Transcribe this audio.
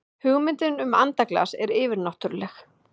hugmyndin um andaglas er yfirnáttúrleg